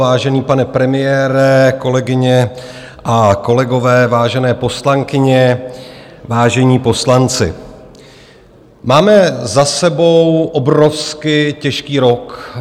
Vážený pane premiére, kolegyně a kolegové, vážené poslankyně, vážení poslanci, máme za sebou obrovsky těžký rok.